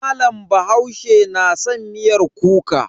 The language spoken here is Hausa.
Malam bahaushe na san miyar kuka.